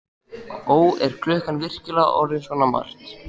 Ó, er klukkan virkilega orðin svona margt?